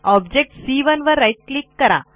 object c 1 वर right click करा